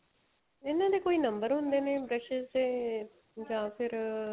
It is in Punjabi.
ਇਹਨਾ ਦੇ ਕੋਈ number ਹੁੰਦੇ ਨੇ brushes ਦੇ ਜਾਂ ਫ਼ਿਰ